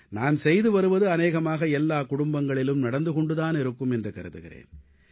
நான் செய்து வருவது அநேகமாக எல்லா குடும்பங்களிலும் நடந்து கொண்டு தானிருக்கும் என்று கருதுகிறேன்